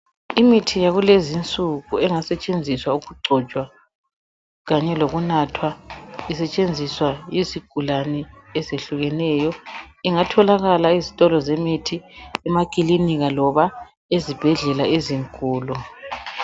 Imithi yakulezi insuku engasetsenziswa ukugcotshwa kanye lokunathwa isetshenziswa yizigulane ezehlukeneyo ingatholaka ezitolo zemithi, emakilinika loba ezibhedlela ezinkulu.